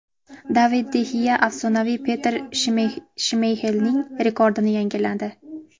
David de Xea afsonaviy Petr Shmeyxelning rekordini yangiladi.